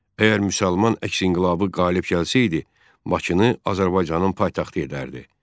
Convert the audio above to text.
Əgər müsəlman əks inqilabı qalib gəlsəydi, Bakını Azərbaycanın paytaxtı edərdi.